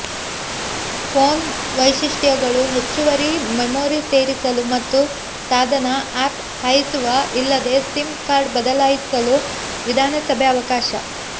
phone ವೈಶಿಷ್ಟ್ಯಗಳು ಹೆಚ್ಚುವರಿ memory ಸೇರಿಸಲು ಮತ್ತು ಸಾಧನ ಆಫ್ ಹಾಯಿಸುವ ಇಲ್ಲದೆ ಸಿಮ್ ಕಾರ್ಡ್ ಬದಲಾಯಿಸಲು ವಿಧಾನಸಭೆ ಅವಕಾಶ